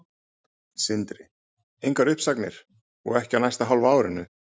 Sindri: Engar uppsagnir, og ekki á næsta hálfa árinu?